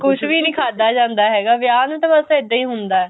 ਕੁੱਝ ਵੀ ਨੀ ਖਾਦਾ ਜਾਂਦਾ ਹੈਗਾ ਵਿਆਹ ਨੂੰ ਤਾਂ ਬੱਸ ਇੱਦਾਂ ਹੀ ਹੁੰਦਾ